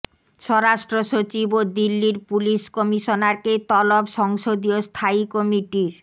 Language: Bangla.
স্বরাষ্ট্রসচিব ও দিল্লির পুলিশ কমিশনারকে তলব সংসদীয় স্থায়ী কমিটির